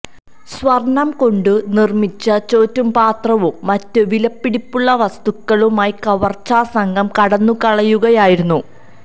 സ്വര്ണ്ണം കൊണ്ട് നിര്മ്മിച്ച ചോറ്റുപാത്രവും മറ്റ് വിലപിടിപ്പുള്ള വസ്തുക്കളുമായി കവര്ച്ചാ സംഘം കടന്നുകളയുകയായിരുന്നു